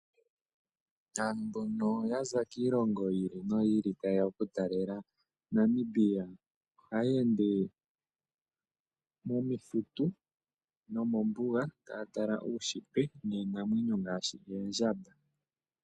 Aantu mbono ya za kiilongo niilongo taya talele po Namibia ohaya ende momithitu nomombuga taya tala uunshitwe niinamwenyo ngaashi oondjamba.